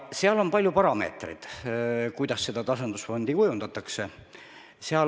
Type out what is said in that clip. Kehtib palju parameetreid, kuidas tasandusfondi kujundatakse.